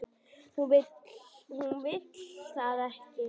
Hún vill það ekki.